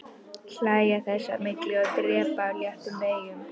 Hlæja þess á milli og dreypa á léttum veigum.